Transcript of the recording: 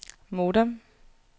modem